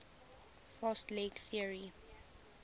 fast leg theory